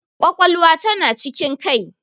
Ƙwaƙwalwa ta na cikin kai.